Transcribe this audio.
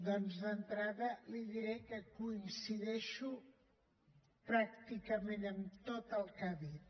doncs d’entrada li diré que coincideixo pràcticament amb tot el que ha dit